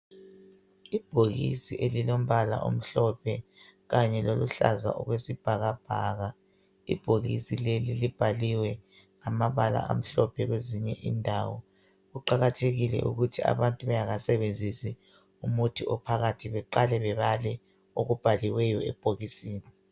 Ibhokisi elilombala omhlophe kanye loluhlaza okwesibhakabhaka. Ibhokisi leli libhaliwe amabala amhlophe kwezinye inawo. Kuqakathekile ukuthi abantu bengakasebenzisi umuthi ophakathi beqale bebale okubhaliweyo ebhokisini